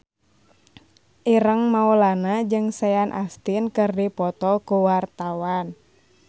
Ireng Maulana jeung Sean Astin keur dipoto ku wartawan